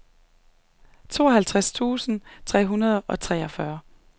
tooghalvtreds tusind tre hundrede og treogfyrre